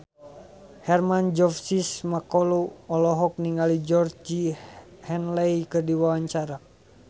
Hermann Josis Mokalu olohok ningali Georgie Henley keur diwawancara